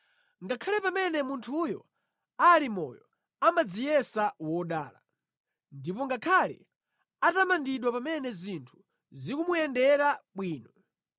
Ngakhale pamene munthuyo ali moyo amadziyesa wodala, ndipo ngakhale atamandidwe pamene zinthu zikumuyendera bwino,